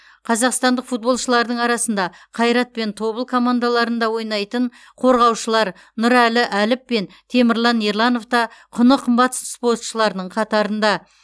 қазақстандық футболшылардың арасында қайрат пен тобыл командаларында ойнайтын қорғаушылар нұралы әліп пен темірлан ерланов та құны қымбат спортшыларының қатарында